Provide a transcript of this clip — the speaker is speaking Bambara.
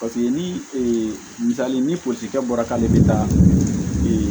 Paseke ni ee misali ni polisikɛ bɔra k'ale bɛ taa